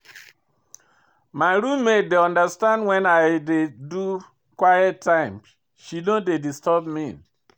My roommate dey understand wen I dey do quiet time, she no dey disturb me.